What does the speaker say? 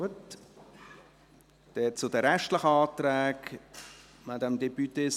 Somit hat Sandra Roulet zu den übrigen Anträgen das Wort.